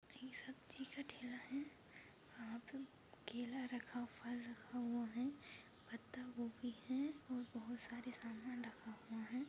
ये सब्जी का ठेला है वहाँ पे केला रखा फल रखा हुआ है पत्ता गोभी है और बहुत सारे सामान रखा हुआ ह।